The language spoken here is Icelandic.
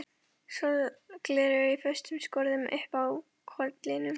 Sólgleraugu í föstum skorðum uppi á kollinum.